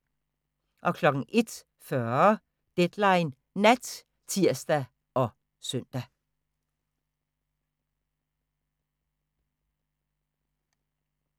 01:40: Deadline Nat (tir og søn)